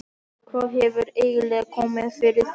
Hvað hefur eiginlega komið fyrir þig?